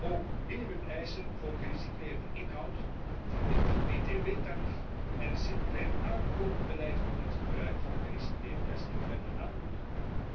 Ook minimumeisen voor gerecycleerde inhoud, een lager btw tarief en een circulair aankoopbeleid kunnen het gebruik van gerecycleerd plastic verder aanmoedigen.